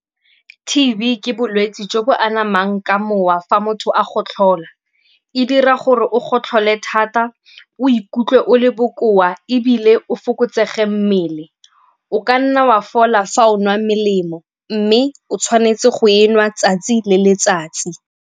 T_B ke bolwetsi jo bo anamang ka mowa fa motho a gotlhola. E dira gore o gotlhole thata, o ikutlwe o le bokoa ebile o fokotsege mmele. O ka nna wa fola fa o nwa melemo mme o tshwanetse go e nwa 'tsatsi le letsatsi.